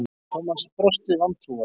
Thomas brosti vantrúaður.